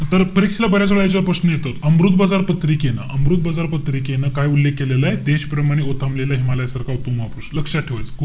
तर परीक्षेला बऱ्याच वेळा याच्यावर प्रश्न येतात. अमृतबाजार पत्रिकेनं~ अमृतबाजार पत्रिकेनं काय उल्लेख केलेलाय? देशप्रमाणे ओथंबलेला हिमालया सारखा उत्तुंग महापुरुष. लक्षात ठेवायचय.